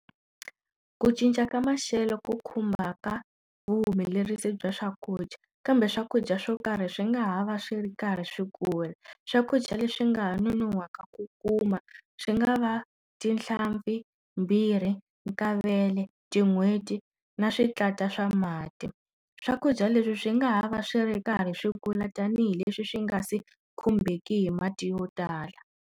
Ku cinca ka maxelo ku khumbaka vuhumelerisi bya swakudya kambe swakudya swo karhi swi nga ha va swi ri karhi swi kula swakudya leswi nga ha nonohwaka ku kuma swi nga va tinhlampfi, mbirhi, kavele tin'hweti na switlata swa mati swakudya leswi swi nga ha va swi ri karhi swi kula tanihileswi swi nga se khumbeki hi mati yo tala.